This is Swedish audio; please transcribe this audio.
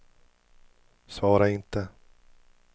svara inte